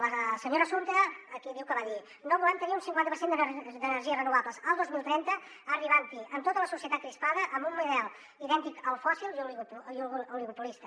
la senyora assumpta aquí diu que va dir no volem tenir un cinquanta per cent d’energies renovables el dos mil trenta arribant hi amb tota la societat crispada amb un model idèntic al fòssil i oligopolista